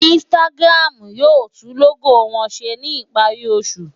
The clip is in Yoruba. Instagram yóò tún lógò wọn ṣe ní ìparí oṣù.